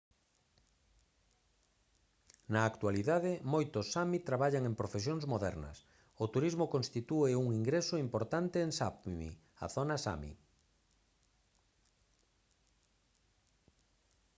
na actualidade moitos sámi traballan en profesións modernas o turismo constitúe un ingreso importante en sápmi a zona sámi